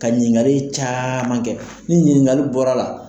Ka ɲininkali caman kɛ ni ɲininkaliw bɔr'a la.